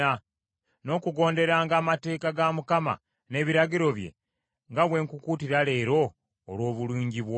n’okugonderanga amateeka ga Mukama n’ebiragiro bye, nga bwe nkukuutira leero olw’obulungi bwo?